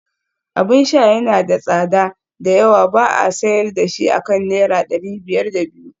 Abin sha yana da tsada da yawa ba a sayar da shi akan naira dari biyar da biyu